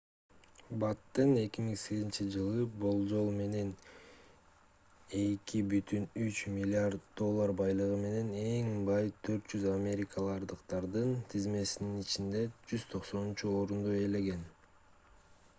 баттен 2008-жылы болжол менен 2,3 миллиард доллар байлыгы менен эң бай 400 америкалыктардын тизмесинин ичинде 190-орунду ээлеген